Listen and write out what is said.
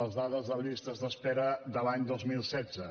les dades de les llistes d’espera de l’any dos mil setze